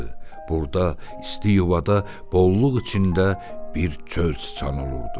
Burda isti yuvada bolluq içində bir çöl çıçanı olurdu.